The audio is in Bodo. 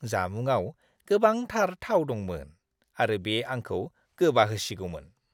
जामुङाव गोबांथार थाव दंमोन आरो बे आंखौ गोबाहोसिगौमोन!